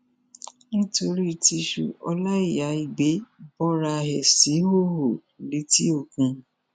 nítorí tìṣu ọláíyà igbe bora ẹ síhòòhò létí òkun